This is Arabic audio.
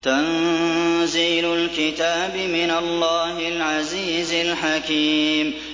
تَنزِيلُ الْكِتَابِ مِنَ اللَّهِ الْعَزِيزِ الْحَكِيمِ